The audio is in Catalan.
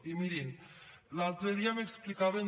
i mirin l’altre dia m’explicaven